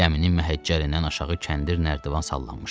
Gəminin məhəccərindən aşağı kəndir nərdivan sallanmışdı.